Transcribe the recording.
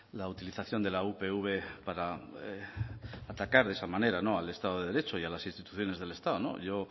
la utilización de la upv para atacar de esa manera al estado de derecho y a las instituciones del estado yo